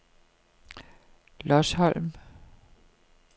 Lodsholm